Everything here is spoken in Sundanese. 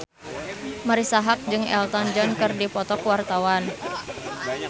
Marisa Haque jeung Elton John keur dipoto ku wartawan